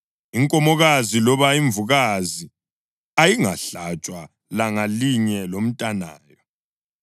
Inkomokazi loba imvukazi ayingahlatshwa langa linye lomntanayo.